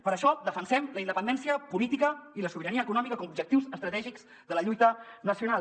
per això defensem la independència política i la sobirania econòmica com a objectius estratègics de la lluita nacional